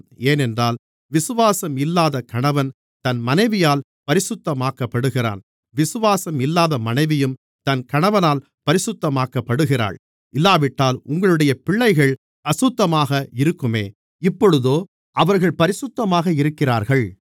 ஏனென்றால் விசுவாசம் இல்லாத கணவன் தன் மனைவியால் பரிசுத்தமாக்கப்படுகிறான் விசுவாசம் இல்லாத மனைவியும் தன் கணவனால் பரிசுத்தமாக்கப்படுகிறாள் இல்லாவிட்டால் உங்களுடைய பிள்ளைகள் அசுத்தமாக இருக்குமே இப்பொழுதோ அவர்கள் பரிசுத்தமாக இருக்கிறார்கள்